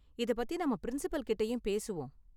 இத பத்தி நாம பிரின்சிபல் கிட்டயும் பேசுவோம்.